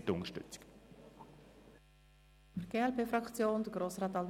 Danke für die Unterstützung.